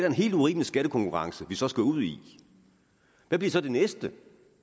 en helt urimelig skattekonkurrence vi så skal ud i hvad bliver så det næste